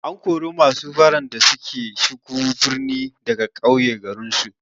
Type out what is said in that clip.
An kori masu baran da suka shigo birni daga ƙauye garinsu.